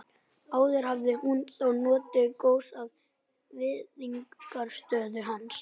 Áður hafði hún þó notið góðs af virðingarstöðu hans.